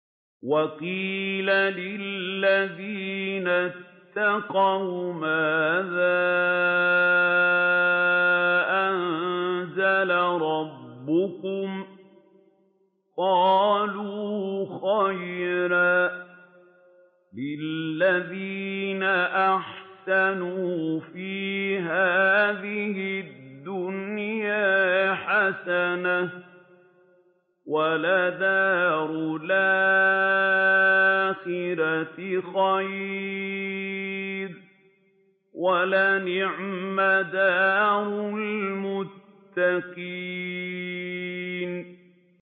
۞ وَقِيلَ لِلَّذِينَ اتَّقَوْا مَاذَا أَنزَلَ رَبُّكُمْ ۚ قَالُوا خَيْرًا ۗ لِّلَّذِينَ أَحْسَنُوا فِي هَٰذِهِ الدُّنْيَا حَسَنَةٌ ۚ وَلَدَارُ الْآخِرَةِ خَيْرٌ ۚ وَلَنِعْمَ دَارُ الْمُتَّقِينَ